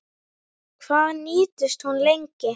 Hvað nýtist hún lengi?